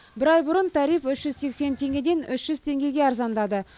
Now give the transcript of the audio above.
бір ай бұрын тариф үш жүз сексен теңгеден үш жүз теңгеге арзандады